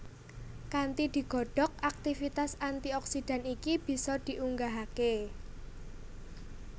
Kanthi digodhog aktivitas antioksidan iki bisa diunggahake